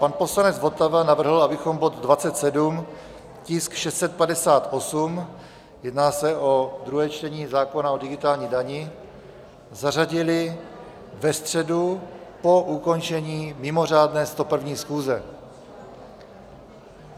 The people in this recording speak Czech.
Pan poslanec Votava navrhl, abychom bod 27, tisk 658, jedná se o druhé čtení zákona o digitální dani, zařadili ve středu po ukončení mimořádné 101. schůze.